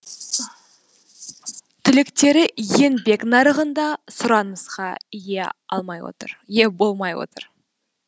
түлектері еңбек нарығында сұранысқа ие болмай отыр